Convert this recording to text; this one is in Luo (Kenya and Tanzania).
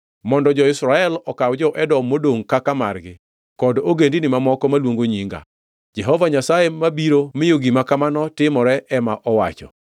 mondo jo-Israel okaw jo-Edom modongʼ kaka margi kod ogendini mamoko maluongo nyinga,” Jehova Nyasaye mabiro miyo gima kamano timore ema owacho.